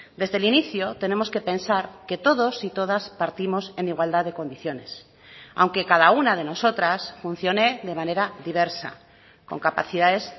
desde el inicio tenemos que pensar que todos y todas partimos en igualdad de condiciones aunque cada una de nosotras funcione de manera diversa con capacidades